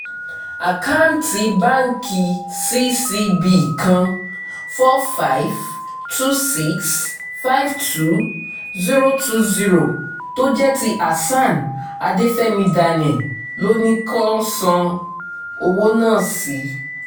àkáǹtì báǹkì ccb kan four hundred fifty two million six hundred fifty two thousand twenty tó jẹ́ ti hasan adefẹ́mi daniel ló ní kó san owó náà sí